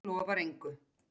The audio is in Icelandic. Lofar engu.